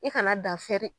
I kana dan fɛ